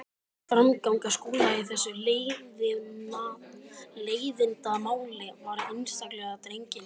Framganga Skúla í þessu leiðindamáli var einstaklega drengileg.